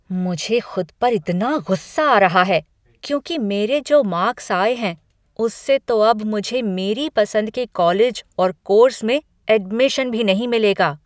मुझे खुद पर इतना गुस्सा आ रहा है, क्योंकि मेरे जो मार्क्स आए हैं उससे तो अब मुझे मेरी पसंद के कॉलेज और कोर्स में एडमिशन भी नहीं मिलेगा।